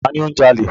Ta ni ó ń jalè?